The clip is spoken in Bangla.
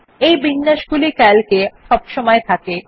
এই বিন্যাসগুলি Calc এ সবসময় থাকে